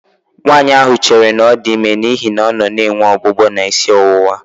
Nwaanyị ahụ chere na ọ dị ime n'ihi na ọ nọ na-enwe ọgbụgbọ na isi ọwụwa